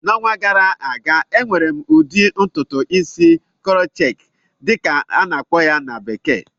N'ọnwa gara aga, emere m ụdị ntụtụ isi "crochet" dịka a na-akpọ ya na bekee